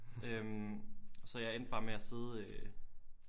Øh så jeg endte bare med at sidde øh